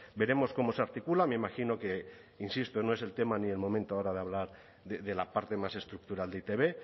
veremos cómo se articula me imagino que insisto no es el tema ni el momento ahora de hablar de la parte más estructural de e i te be